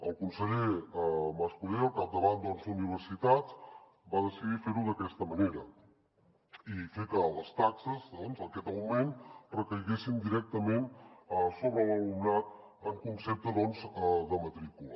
el conseller mas colell al capdavant d’universitats va decidir fer ho d’aquesta manera i fer que les taxes aquest augment recaiguessin directament sobre l’alumnat en concepte de matrícula